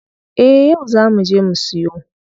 Eh yau zaa muje mu siyo.